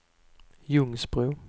Ljungsbro